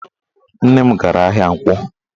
Nne m gara ahịa Nkwọ